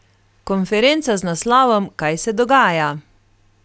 Konferenca z naslovom Kaj se dogaja?